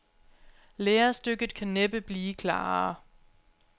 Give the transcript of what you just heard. Lærestykket kan næppe blive klarere.